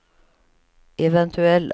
eventuella